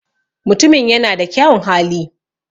Mutumin ya na da kyaun hali